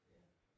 Ja